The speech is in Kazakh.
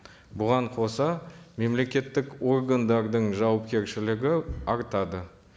бұған қоса мемлекеттік органдардың жауапкершілігі артады